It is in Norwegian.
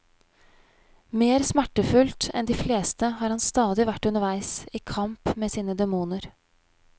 Mer smertefullt enn de fleste har han stadig vært underveis, i kamp med sine demoner.